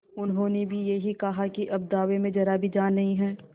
उन्होंने भी यही कहा कि अब दावे में जरा भी जान नहीं है